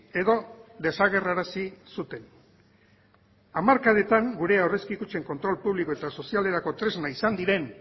edo desagerrarazi zuten hamarkadetan gure aurrezki kutxen kontrol publiko eta sozialerako tresna izan diren